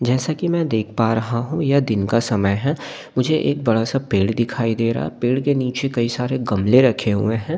जैसा कि मैं देख पा रहा हूं यह दिन का समय है मुझे एक बड़ा सा पेड़ दिखाई दे रहा पेड़ के नीचे कई सारे गमले रखे हुए हैं।